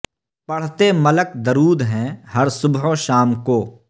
پڑھتے ملک درود ہیں ہر صبح و شام کو